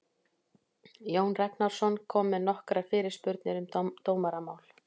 Jón Ragnarsson kom með nokkrar fyrirspurnir um dómaramál.